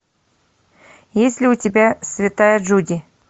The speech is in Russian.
есть ли у тебя святая джуди